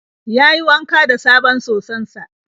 Yayi wanka da sabon soson sa.